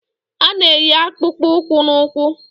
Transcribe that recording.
A na-eyi akpụkpọ ụkwụ na ụkwụ